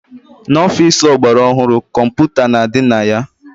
N'ọfici ọgbara ọhụrụ, kọmputa na-adị na ya.